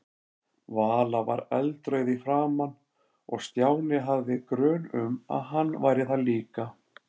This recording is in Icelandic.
Vala var eldrauð í framan og Stjáni hafði grun um að hann væri það líka.